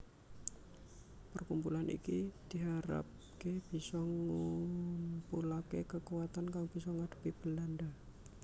Perkumpulan iki diharapké bisa ngumpulaké kekuatan kang bisa ngadhepi Belandha